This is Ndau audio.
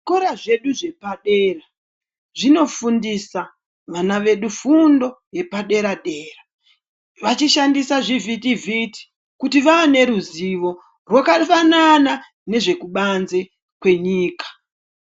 Zvikora zvedu zvepa dera zvino fundisa vana edu fundo yepa dera dera vachi shandisa zvi vhiti vhiti kuti vane ruzivo rwakafanana nezveku banze kwenyika .